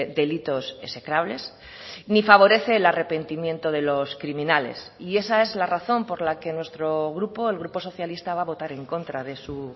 delitos execrables ni favorece el arrepentimiento de los criminales y esa es la razón por la que nuestro grupo el grupo socialista va a votar en contra de su